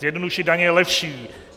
Zjednodušit daně je lepší.